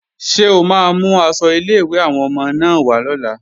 Ṣé o máa mú aṣọ ilé-ìwé àwọn ọmọ náà wá lọ́la?